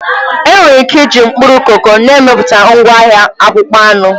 Enwere ike iji mkpụrụ koko na-emepụta ngwaahịa akpụkpọ anụ.